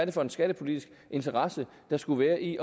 er for en skattepolitisk interesse der skulle være i